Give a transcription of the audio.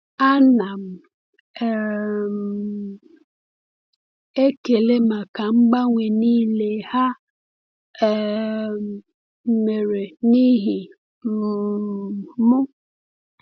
A na m um ekele maka mgbanwe niile ha um mere n’ihi um m.